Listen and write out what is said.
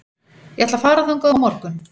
Ég ætla að fara þangað á morgun.